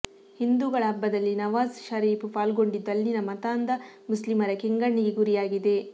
ಹಿಂದೂಗಳ ಹಬ್ಬದಲ್ಲಿ ನವಾಜ್ ಷರೀಫ್ ಪಾಲ್ಗೊಂಡಿದ್ದು ಅಲ್ಲಿನ ಮತಾಂಧ ಮುಸ್ಲಿಮರ ಕೆಂಗಣ್ಣಿಗೆ ಗುರಿಯಾಗಿದೆ